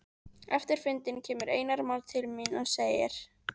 Eftir fundinn kemur Einar Már til mín og segir